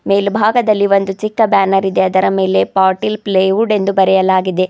ಮೇಲ್ಭಾಗದಲ್ಲಿ ಒಂದು ಚಿಕ್ಕ ಬ್ಯಾನರ್ ಇದೆ ಅದರ ಮೇಲೆ ಪಾಟಿಲ್ ಪ್ಕೈವುಡ್ ಎಂದು ಬರೆಯಲಾಗಿದೆ.